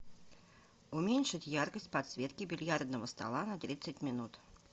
уменьшить яркость подсветки бильярдного стола на тридцать минут